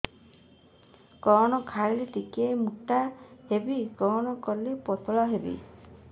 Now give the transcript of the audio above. କଣ ଖାଇଲେ ଟିକେ ମୁଟା ହେବି କଣ କଲେ ପତଳା ହେବି